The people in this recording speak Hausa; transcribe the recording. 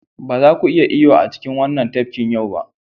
Ba za ku iya yin iyo a cikin wannan tafkin yau ba.